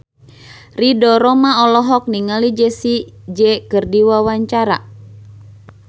Ridho Roma olohok ningali Jessie J keur diwawancara